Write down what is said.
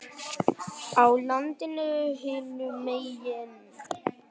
á landinu hinum megin.